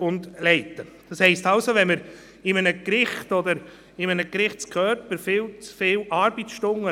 Uns geht es darum, dass der Kanton als Arbeitgeber seine Fürsorgepflicht gegenüber dem Personal wahrnimmt.